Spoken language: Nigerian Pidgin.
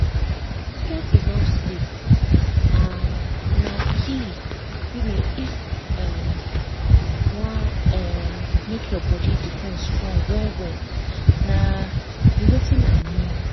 to get enough sleep ah na key um if you um wan um make your body defense strong well-well na be watin i mean